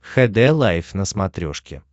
хд лайф на смотрешке